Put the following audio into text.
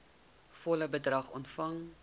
volle bedrag ontvang